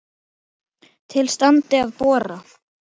Til standi að bora.